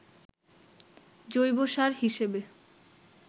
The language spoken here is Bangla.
জৈবসার হিসেবে